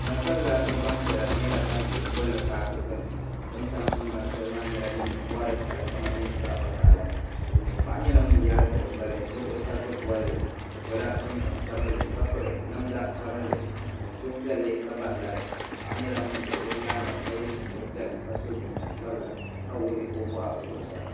Gbansabla mini gbanpiɛla nyɛla ban ʒi paaki gbini bɛ ni tam tingbani shɛli maa nyɛla din nyɛ mori ka di kama nyɛ zaɣa hakaɣila Silimiin paɣa nyɛla ŋun yaagi o gbali n tabigi bolli o sola jinjiɛm sabinli ka piri namda sabinli o niŋ suhupiɛlli ka bahi lari paɣa nyɛla ŋun ʒɛ o nyaanga ka ye sitiri piɛlla ka so jinjiɛm sabla ka wuɣi o boɣu zuɣusaa.